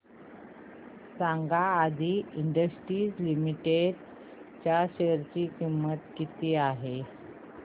सांगा Adi industries limited च्या share ची किंमत किती आहे